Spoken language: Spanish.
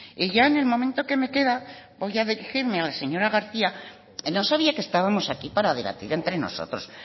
ya en el momento que me queda voy a dirigirme a la señora garcía no sabía que estamos aquí para debatir entre nosotros